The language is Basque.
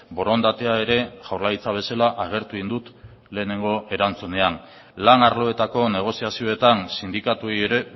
borondatea ere jaurlaritza bezala agertu egin dut lehenengo erantzunean lan arloetako negoziazioetan sindikatuei ere